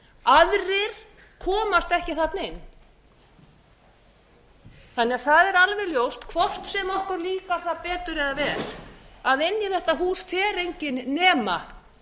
aðrir komast ekki þarna inn það er alveg ljóst hvort sem okkur líkar það betur eða verr að inn í þetta hús fer enginn nema